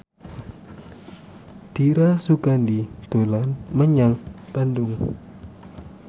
Dira Sugandi dolan menyang Bandung